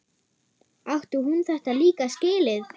Átti hún þetta líka skilið?